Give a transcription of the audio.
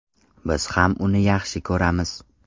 Biz ham uni yaxshi ko‘ramiz.